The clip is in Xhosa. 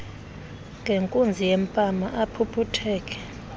ngenkunzi yempama aphuphutheke